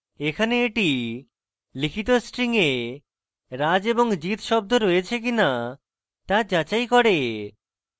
এখানে এটি লিখিত string এ raj এবং jit শব্দ রয়েছে কিনা তা যাচাই করে